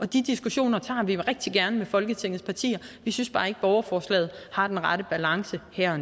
de diskussioner tager vi rigtig gerne med folketingets partier vi synes bare ikke at borgerforslaget har den rette balance her